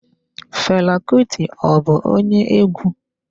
Fela Kuti ọ bụ onye egwu?